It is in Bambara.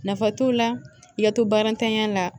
Nafa t'o la i ka to barantanya la